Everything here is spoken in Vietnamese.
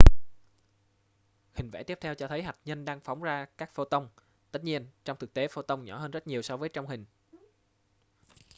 hình vẽ tiếp theo cho thấy hạt nhân đang phóng ra các photon tất nhiên trong thực tế photon nhỏ hơn rất nhiều so với trong hình